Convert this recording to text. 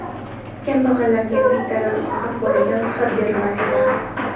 Kambag‘allarga bittadan ortiq bolaga ruxsat berilmas edi.